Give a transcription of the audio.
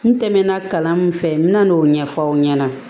N tɛmɛna kalan min fɛ n bɛna n'o ɲɛfɔ aw ɲɛna